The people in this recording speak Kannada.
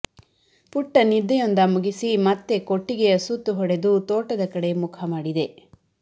ಪುಟ್ಟ ನಿದ್ದೆಯೊಂದ ಮುಗಿಸಿ ಮತ್ತೆ ಕೊಟ್ಟಿಗೆಯ ಸುತ್ತು ಹೊಡೆದು ತೋಟದ ಕಡೆ ಮುಖ ಮಾಡಿದೆ